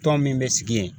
Tɔn min bɛ sigi yen